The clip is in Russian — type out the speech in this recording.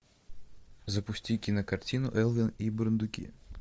запусти кинокартину элвин и бурундуки